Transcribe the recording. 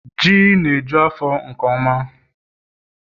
Ji na eju afọ nke ọma